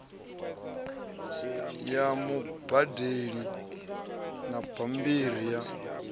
ya mubadeli na bambiri ya